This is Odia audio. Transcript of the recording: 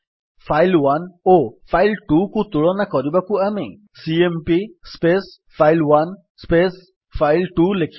ଫାଇଲ୍1 ଓ file2କୁ ତୁଳନା କରିବାକୁ ଆମେ ସିଏମ୍ପି ଫାଇଲ୍1 ଫାଇଲ୍2 ଲେଖିବା